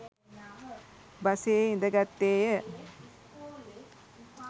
බසයේ ඉඳගත්තේය.